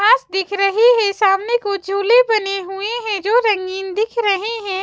घास दिख रहे हैं सामने को झूले बने हुए हैं जो रंगीन दिख रहे हैं।